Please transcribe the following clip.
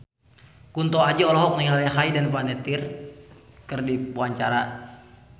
Kunto Aji olohok ningali Hayden Panettiere keur diwawancara